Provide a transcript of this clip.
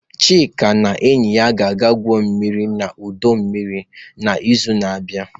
Chika na enyi ya ga-egwu mmiri n'ọdọ mmiri n'izu na-abịa.